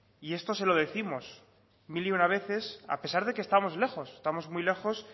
y esto se lo décimos mil y una veces a pesar de que estamos lejos estamos muy lejos